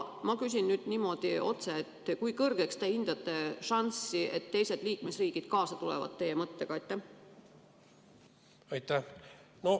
Ma küsin nüüd niimoodi otse: kui kõrgeks te hindate šanssi, et teised liikmesriigid teie mõttega kaasa tulevad?